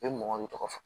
I bɛ mɔgɔ min tɔgɔ fɔ